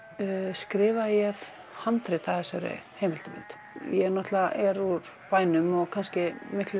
skrifaði ég handrit að þessari heimildarmynd ég er úr bænum og kannski miklu